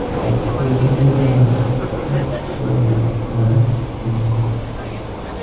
Biroq u bu bilan ham kifoyalanib qolmadi.